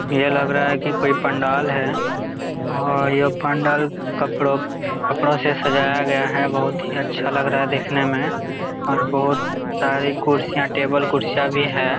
यह लग रहा है की कोई पंडाल है और यह पंडाल कपड़ों कपड़ों से सजाया गया है बहोत ही अच्छा लग रहा है दिखने में और बहोत सारे कुर्सियां टेबल कुर्सियां भी है।